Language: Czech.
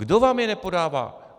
Kdo vám je nepodává?